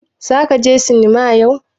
Zaka je sinima yau.